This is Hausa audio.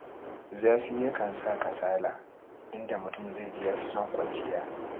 Zafi yakan saka kasala, inda mutum zai ji ya fi son kwanciya.